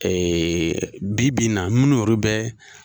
Ee bi bi in na munnu yɛrɛ bɛ